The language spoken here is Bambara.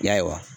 Ya